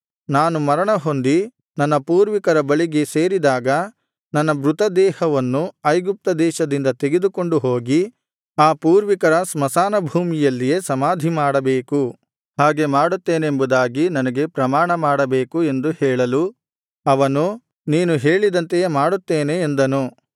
ನಾನು ಮರಣ ಹೊಂದಿ ನನ್ನ ಪೂರ್ವಿಕರ ಬಳಿಗೆ ಸೇರಿದಾಗ ನನ್ನ ಮೃತ ದೇಹವನ್ನು ಐಗುಪ್ತ ದೇಶದಿಂದ ತೆಗೆದುಕೊಂಡು ಹೋಗಿ ಆ ಪೂರ್ವಿಕರ ಸ್ಮಶಾನ ಭೂಮಿಯಲ್ಲಿಯೇ ಸಮಾಧಿ ಮಾಡಬೇಕು ಹಾಗೆ ಮಾಡುತ್ತೇನೆಂಬುದಾಗಿ ನನಗೆ ಪ್ರಮಾಣ ಮಾಡಬೇಕು ಎಂದು ಹೇಳಲು ಅವನು ನೀನು ಹೇಳಿದಂತೆಯೇ ಮಾಡುತ್ತೇನೆ ಎಂದನು